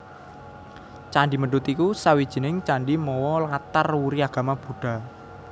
Candhi Mendut iku sawijining candhi mawa latar wuri agama Buddha